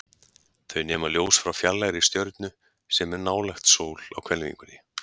Þau nema ljós frá fjarlægri stjörnu, sem er nálægt sól á hvelfingunni.